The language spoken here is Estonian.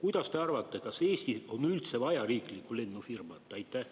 Mis te arvate, kas Eestis on üldse vaja riiklikku lennufirmat?